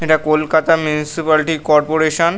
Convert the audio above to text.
এটা Kolkata municipality corporation.